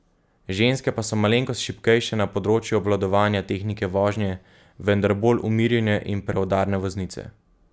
Ženske pa so malenkost šibkejše na področju obvladovanja tehnike vožnje, vendar bolj umirjene in preudarne voznice.